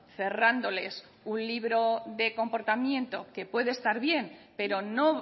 cerrándoles un libro de comportamiento que puede estar bien pero no